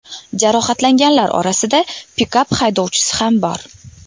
Jarohatlanganlar orasida pikap haydovchisi ham bor.